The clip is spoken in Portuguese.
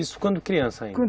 Isso quando criança ainda?